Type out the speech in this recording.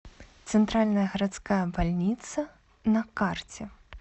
центральная городская больница на карте